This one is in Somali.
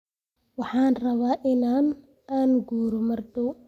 Waxaan rabaa in aan guuro maar daaw